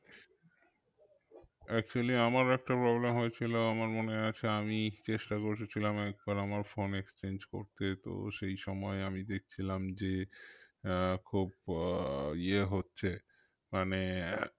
Actually আমার একটা problem হয়েছিল আমার মনে আছে আমি চেষ্টা করেছিলাম একবার আমার phone exchange করতে তো সেই সময় আমি দেখছিলাম যে আহ খুব আহ য়ে হচ্ছে মানে